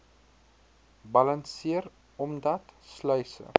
balanseer omdat sluise